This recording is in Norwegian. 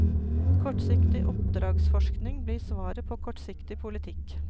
Kortsiktig oppdragsforskning blir svaret på kortsiktig politikk.